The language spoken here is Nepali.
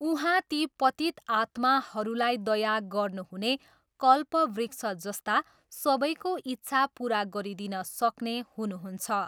उहाँ ती पतित आत्माहरूलाई दया गर्नुहुने कल्पवृक्ष जस्ता सबैको इच्छा पुरा गरिदिन सक्ने हुनुहुन्छ।